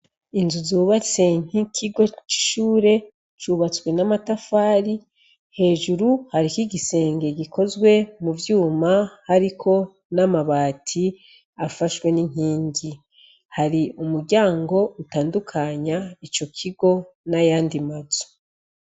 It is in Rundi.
Inzu zubatse nk'inkigo c'ishuri zubatswe n'amatafari. Hejuru hariko igisenge gikozwe mu vyuma hariko n'amabati afashwe n'inkingi. Hari umuryango utandukanya ico kigo n'ayandi mazu.